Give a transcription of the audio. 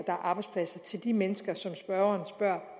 er arbejdspladser til de mennesker som spørgeren spørger